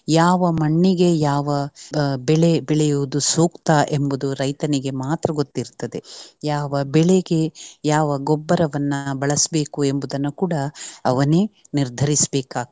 ಯಾವ ಮಣ್ಣಿಗೆ ಯಾವ ಬೆಳೆ ಬೆಳೆಯುವುದು ಸೂಕ್ತ ಎಂಬುವುದು ರೈತನಿಗೆ ಮಾತ್ರ ಗೊತ್ತಿರ್ತದೆ. ಯಾವ ಬೆಳೆಗೆ ಯಾವ ಗೊಬ್ಬರವನ್ನು ಬಳಸ್ಬೇಕು ಎಂಬುದನ್ನು ಕೂಡ ಅವನೇ ನಿರ್ಧರಿಸ್ ಬೇಕಾಗ್ತದೆ.